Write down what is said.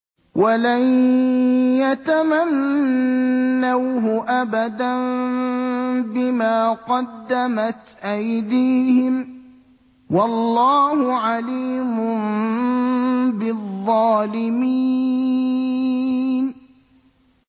وَلَن يَتَمَنَّوْهُ أَبَدًا بِمَا قَدَّمَتْ أَيْدِيهِمْ ۗ وَاللَّهُ عَلِيمٌ بِالظَّالِمِينَ